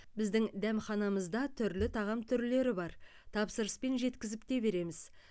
біздің дәмханамызда түрлі тағам түрлері бар тапсырыспен жеткізіп те береміз